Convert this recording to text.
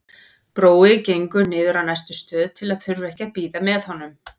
Brói gengur niður á næstu stöð til að þurfa ekki að bíða með honum.